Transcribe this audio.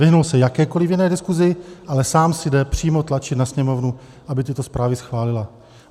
Vyhnul se jakékoliv jiné diskusi, ale sám si jde přímo tlačit na Sněmovnu, aby tyto zprávy schválila.